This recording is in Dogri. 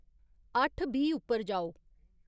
अट्ठ बीह् उप्पर जाओ